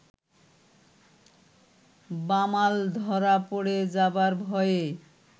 বামাল ধরা পড়ে যাবার ভয়ে